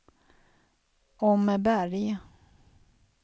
Åmmeberg